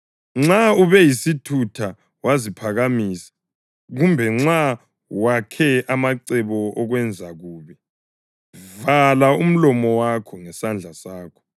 Nxa ube yisithutha waziphakamisa, kumbe nxa wakhe amacebo okwenza okubi, vala umlomo wakho ngesandla sakho.